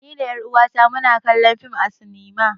Ni da ƴan uwa na mu na kallon fim a sinima